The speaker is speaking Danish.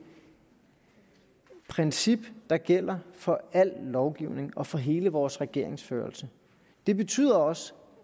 princip der gælder for al lovgivning og for hele vores regeringsførelse det betyder også